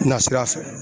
Na sira fɛ